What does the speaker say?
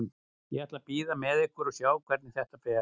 Ég ætla að bíða með ykkur og sjá hvernig þetta fer.